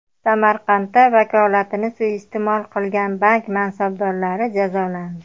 Samarqandda vakolatini suiiste’mol qilgan bank mansabdorlari jazolandi.